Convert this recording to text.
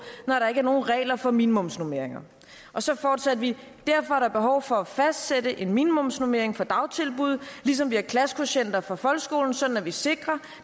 når der ikke er nogen regler for minimumsnormeringer og så fortsatte vi derfor er der behov for at fastsætte en minimumsnormering for dagtilbud ligesom vi har klassekvotienter for folkeskolen sådan at vi sikrer